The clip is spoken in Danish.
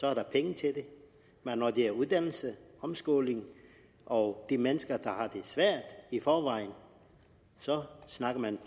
er der penge til det men når det er uddannelse omskoling og de mennesker der har det svært i forvejen snakker man